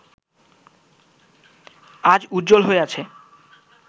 আজ উজ্জ্বল হয়ে আছে